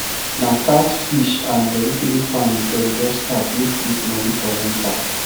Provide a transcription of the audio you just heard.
na catfish and vegetable farm dem just start make quick money for enter